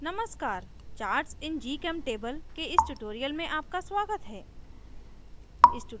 नमस्कार charts in gchemtable के इस tutorial में आपका स्वागत है